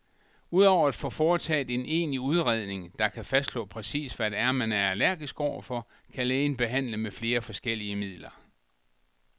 Udover at få foretaget en egentlig udredning, der kan fastslå præcis, hvad det er, man er allergisk overfor, kan lægen behandle med flere forskellige midler.